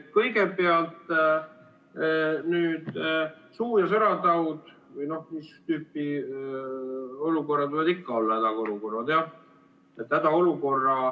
Kõigepealt suu- ja sõrataud, seda tüüpi olukorrad võivad ikka olla hädaolukorrad jah.